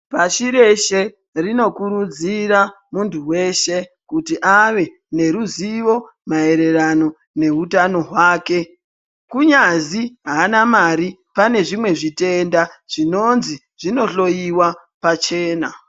Pashi reshe rinokurudzira muntu veshe kuti ave neruzivo maererano nehutano hwake. Kunyazi haana mari pane zvimwe zvitenda zvinonzi zvinohloiwa pachena.